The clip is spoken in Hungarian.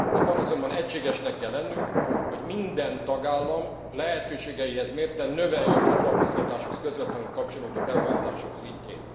Abban azonban egységesnek kell lennünk, hogy minden tagállam lehetőségeihez mérten növelje a foglalkoztatáshoz közvetlenül kapcsolódó beruházások szintjét.